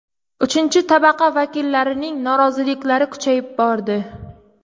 Uchinchi tabaqa vakillarining noroziliklari kuchayib bordi.